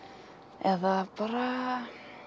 eða bara